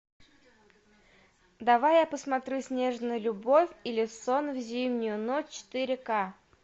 давай я посмотрю снежная любовь или сон в зимнюю ночь четыре ка